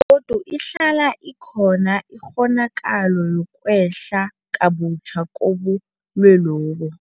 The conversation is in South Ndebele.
godu ihlala ikhona ikghonakalo yokwehla kabutjha kobulwelobu.